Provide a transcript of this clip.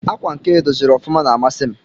Akwa nke edọziri ọfụma na amasi m.